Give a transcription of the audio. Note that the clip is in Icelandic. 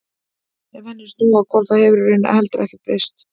Ef henni er snúið á hvolf þá hefur í raun heldur ekkert breyst.